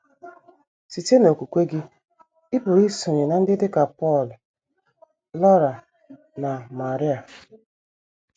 Site n’okwukwe gị, ị pụrụ isonye ná ndị dị ka Pọl, Laura, na María.